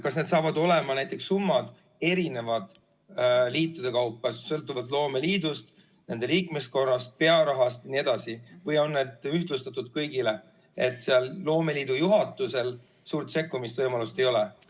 Kas need summad hakkavad olema erinevad liitude kaupa, sõltuvalt loomeliidust, nende liikmeskonnast, pearahast jne, või on need ühtlustatud kõigile, nii et loomeliidu juhatusel suurt sekkumisvõimalust ei ole?